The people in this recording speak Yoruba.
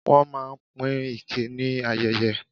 Wọ́n máa ń pín ike ni ayeye.